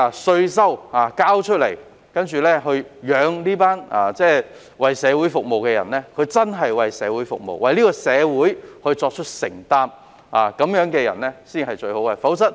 市民繳交稅款養活這群為社會服務的人，他們應該真正為社會服務並作出承擔，這樣的人才是最好的人選。